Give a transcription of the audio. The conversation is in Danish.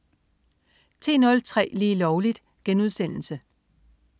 10.03 Lige Lovligt*